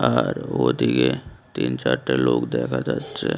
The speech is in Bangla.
আর ওদিকে তিন চারটে লোক দেখা যাচ্ছে।